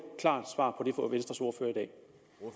klart svar